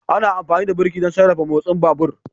Ana amfani da birki don sarrafa motsin babur